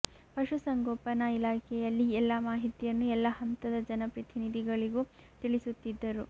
ಪಶು ಸಂಗೋಪನಾ ಇಲಾಖೆಯಲ್ಲಿ ಎಲ್ಲ ಮಾಹಿತಿಯನ್ನು ಎಲ್ಲ ಹಂತದ ಜನಪ್ರತಿನಿಧಿಗಳಿಗೂ ತಿಳಿಸುತ್ತಿದ್ದರು